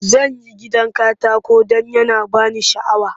Zan yi gidan katako don yana ba ni sha'awa.